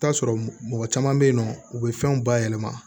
I bi t'a sɔrɔ mɔgɔ caman be yen nɔ u be fɛnw bayɛlɛma